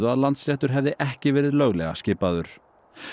að Landsréttur hefði ekki verið löglega skipaður